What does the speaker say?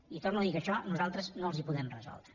i torno a dir que això nosaltres no els ho podem resoldre